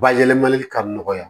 Bayɛlɛmali ka nɔgɔya